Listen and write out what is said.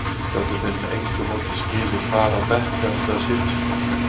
Gátu þeir með engu móti skilið hvar á bekk þeir áttu að sitja?